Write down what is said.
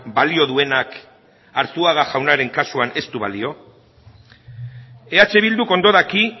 balio duenak arzuaga jaunaren kasuan ez du balio eh bilduk ondo daki